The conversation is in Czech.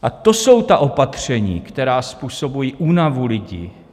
A to jsou ta opatření, která způsobují únavu lidí.